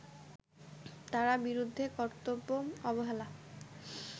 তার বিরুদ্ধে কর্তব্যে অবহেলা